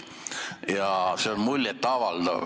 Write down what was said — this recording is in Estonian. See piir on muljet avaldav.